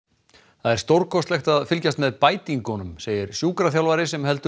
það er stórkostlegt að fylgjast með segir sjúkraþjálfari sem heldur